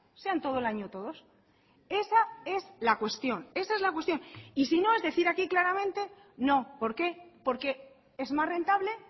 sean todo el año todos esa es la cuestión esa es la cuestión y sino es decir aquí claramente no por qué porque es más rentable